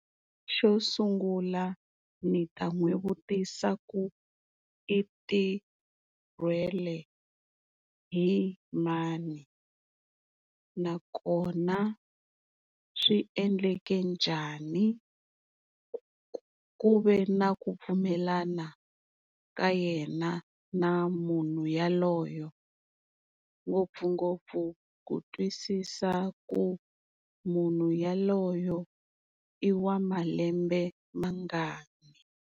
Xo sungula ni ta n'wi vutisa ku i tirhwele hi mani nakona swi endleke njhani, ku ve na ku pfumelana ka yena na munhu yaloyo ngopfungopfu ku twisisa ku munhu yaloyo i wa malembe mangani.